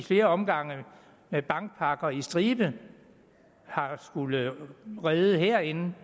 flere omgange med bankpakker på stribe har skullet redde herinde